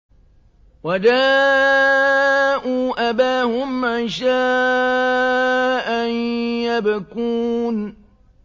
وَجَاءُوا أَبَاهُمْ عِشَاءً يَبْكُونَ